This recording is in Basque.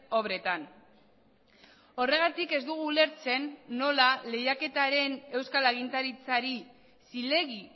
obretan horregatik ez dugu ulertzen nola lehiaketaren euskal agintaritzari zilegi